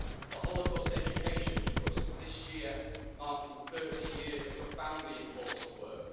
the Holocaust Education Trust, this year marking 30 years of profoundly important work